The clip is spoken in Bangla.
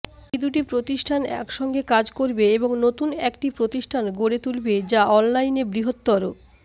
এই দুটি প্রতিষ্ঠান একসঙ্গে কাজ করবে এবং নতুন একটি প্রতিষ্ঠান গড়ে তুলবে যা অনলাইনে বৃহত্তর